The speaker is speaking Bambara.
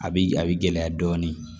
A bi a bi gɛlɛya dɔɔnin